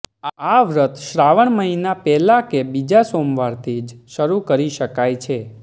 આ વ્રત શ્રાવણ મહીના પહેલા કે બીજા સોમવારથી જ શરૂ કરી શકાય છે